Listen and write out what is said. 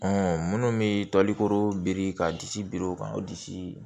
minnu bɛ toliko biriki ka disi biri o kan o disi